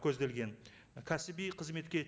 көзделген кәсіби қызметке